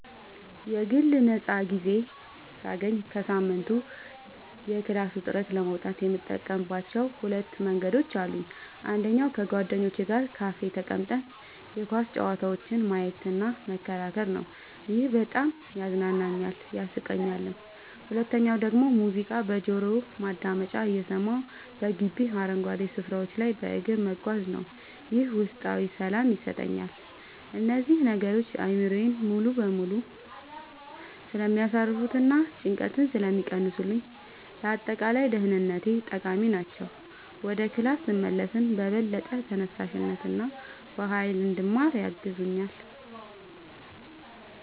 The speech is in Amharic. የግል ነፃ ጊዜ ሳገኝ ከሳምንቱ የክላስ ውጥረት ለመውጣት የምጠቀምባቸው ሁለት ዋና መንገዶች አሉኝ። አንደኛው ከጓደኞቼ ጋር ካፌ ተቀምጠን የኳስ ጨዋታዎችን ማየትና መከራከር ነው፤ ይሄ በጣም ያዝናናኛል፣ ያሳቀኛልም። ሁለተኛው ደግሞ ሙዚቃ በጆሮ ማዳመጫ እየሰማሁ በግቢው አረንጓዴ ስፍራዎች ላይ በእግር መጓዝ ነው፤ ይህም ውስጣዊ ሰላም ይሰጠኛል። እነዚህ ነገሮች አእምሮዬን ሙሉ በሙሉ ስለሚያሳርፉትና ጭንቀትን ስለሚቀንሱልኝ ለአጠቃላይ ደህንነቴ ጠቃሚ ናቸው። ወደ ክላስ ስመለስም በበለጠ ተነሳሽነትና በሃይል እንድማር ያግዙኛል።